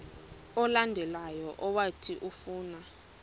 olandelayo owathi ufuna